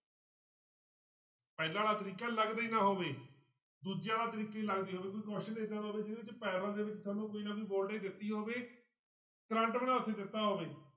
ਪਹਿਲਾਂ ਵਾਲਾ ਤਰੀਕਾ ਲੱਗਦਾ ਹੀ ਨਾ ਹੋਵੇ ਦੂਜੇ ਵਾਲਾ ਤਰੀਕਾ ਹੀ ਲੱਗਦਾ ਹੋਵੇ ਕੋਈ question ਏਦਾਂ ਦਾ ਹੋਵੇ ਜਿਹਦੇ ਵਿੱਚ parallel ਦੇ ਵਿੱਚ ਸਾਨੂੰ ਕੋਈ ਨਾ ਕੋਈ voltage ਦਿੱਤੀ ਹੋਵੇ ਕਰੰਟ ਵੀ ਨਾ ਉੱਥੇ ਦਿੱਤਾ ਹੋਵੇ।